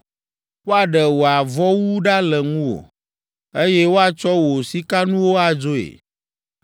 Woaɖe wò avɔwu ɖa le ŋuwò, eye woatsɔ wò sikanuwo adzoe.